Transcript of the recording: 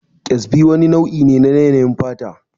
Ƙyazbi wani nau'i ne na yanayin fata